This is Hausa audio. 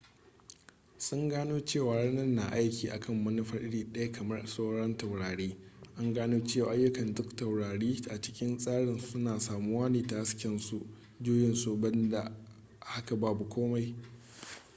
sun gano cewa rana na aiki akan manufa iri daya kamar sauran taurari an gano cewa ayukkan duk taurari a cikin tsarin suna samuwa ne ta hasken su juyin su banda haka babu komai